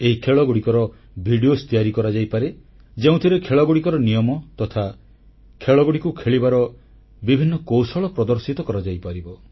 ଏହି ଖେଳଗୁଡ଼ିକର ଭିଡିଓ ତିଆରି କରାଯାଇପାରେ ଯେଉଁଥିରେ ଖେଳଗୁଡ଼ିକର ନିୟମ ତଥା ଖେଳଗୁଡ଼ିକୁ ଖେଳିବାର ବିଭିନ୍ନ କୌଶଳ ପ୍ରଦର୍ଶିତ କରାଯାଇପାରିବ